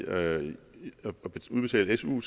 at udbetale su